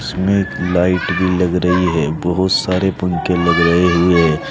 इसमें लाइट भी लग रही है बहुत सारे पंखे लगे रहे हुए--